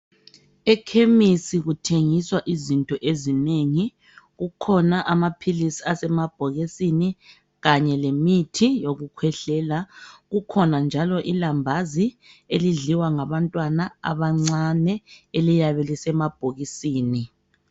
Ekhemisi kuthengiswa izinto eziningi. Kukhona amaphilisi asemabhokisini. Kanye lemithi yokukhwehlela..Kukhona njalo ilambazi, elidliwa ngabantwana abancane. Eliyabe, lisemabhokisini.